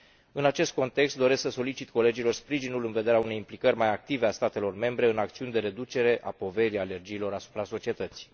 În acest context, doresc să solicit colegilor sprijinul în vederea unei implicări mai active a statelor membre în acțiuni de reducere a impactului alergiilor asupra societății.